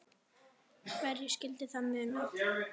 En hverju skyldi það muna?